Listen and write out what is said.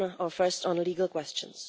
First, on legal questions.